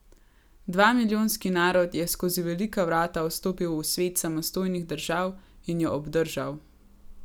Dvamilijonski narod je skozi velika vrata stopil v svet samostojnih držav in jo obdržal!